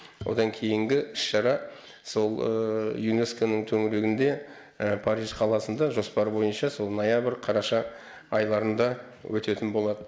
одан кейінгі іс шара сол юнеско ның төңірегінде париж қаласында жоспар бойынша сол қараша айларында өтетін болады